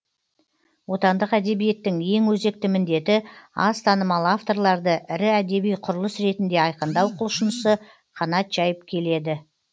отандық әдебиеттің ең өзекті міндеті аз танымал авторларды ірі әдеби құбылыс ретінде айқындау құлшынысы қанат жайып келеді